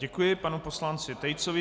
Děkuji panu poslanci Tejcovi.